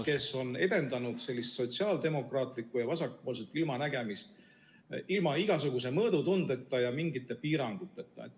... kes on edendanud sotsiaaldemokraatlikku ja vasakpoolset ilmanägemist ilma igasuguse mõõdutundeta ja piiranguteta.